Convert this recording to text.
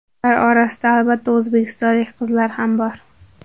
Ular orasida albatta o‘zbekistonlik qizlar ham bor.